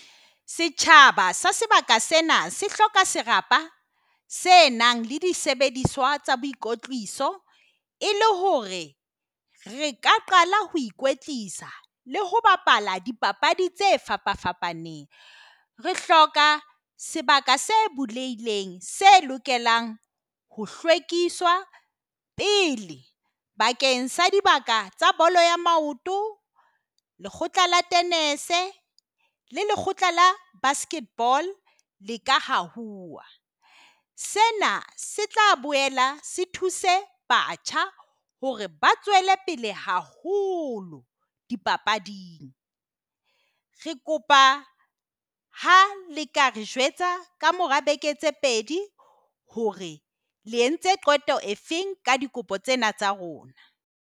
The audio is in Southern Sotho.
Setjhaba se sebaka sena se hloka serapa se nang le disebediswa tsa boikotliso, e le hore re ka qala hoe. Koetlisa le ho bapala dipapadi tse fapa fapaneng. Re hloka sebaka se bulehileng se lokelang ho pele bakeng sa dibaka tsa bolo ea maoto. Lekgotla la le lekgotla la basket ball leka ho sena se tla boela se thuse batjha hore ba tswele pele haholo di papading. Re kopa ha le ka re jwetsa ka mora beke tse pedi hore le entse qeto e feng ka dikopo tsena tsa rona.